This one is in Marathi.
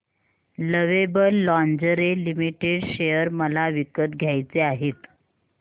लवेबल लॉन्जरे लिमिटेड शेअर मला विकत घ्यायचे आहेत